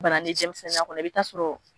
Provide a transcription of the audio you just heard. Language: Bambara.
Bana ni denmisɛnninya kɔnɔ i bi taa sɔrɔ.